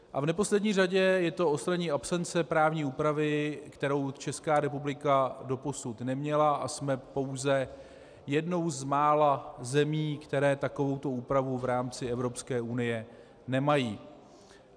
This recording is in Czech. A v neposlední řadě je to odstranění absence právní úpravy, kterou Česká republika doposud neměla, a jsme pouze jednou z mála zemí, které takovouto úpravu v rámci Evropské unie nemají.